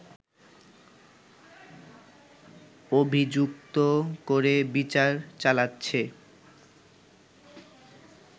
অভিযুক্ত করে বিচার চালাচ্ছে